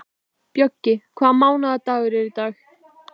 Bjöggi, hvaða mánaðardagur er í dag?